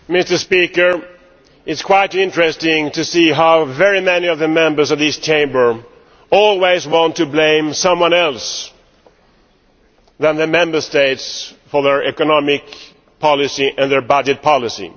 Mr President, it is quite interesting to see how very many of the Members of this Chamber always want to blame someone other than the Member States for their economic policy and their budget policy.